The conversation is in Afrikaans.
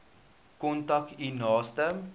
kontak u naaste